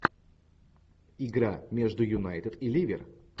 игра между юнайтед и ливер